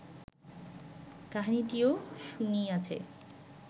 কাহিনীটিও শুনিয়াছে